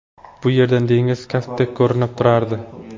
Bu yerdan dengiz kaftdek ko‘rinib turardi.